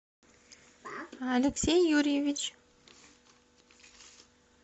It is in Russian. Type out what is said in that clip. алексей юрьевич